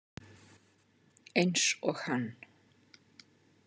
Eins og hann.